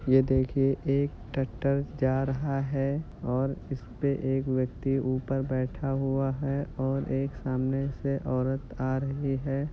ये देखिये एक ट्रैक्टर जा रहा हैं और इसपे एक व्यक्ति ऊपर बैठा हुआ है और एक सामने से औरत आ रही है।